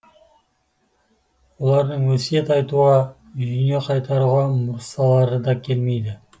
олардың өсиет айтуға үйіне қайтаруға мұсалары да келмейді